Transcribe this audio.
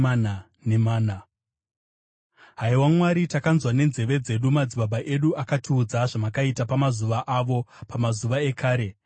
Haiwa Mwari, takanzwa nenzeve dzedu; madzibaba edu akatiudza zvamakaita pamazuva avo, pamazuva ekare.